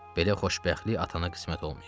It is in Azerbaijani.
Belə xoşbəxtlik atana qismət olmayıb.